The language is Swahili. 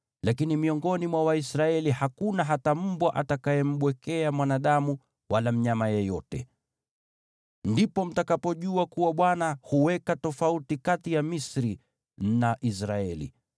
Lakini miongoni mwa Waisraeli hakuna hata mbwa atakayembwekea mwanadamu wala mnyama yeyote.’ Ndipo mtakapojua kuwa Bwana huweka tofauti kati ya Misri na Israeli.